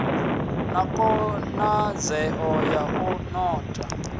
na khonadzeo ya u notha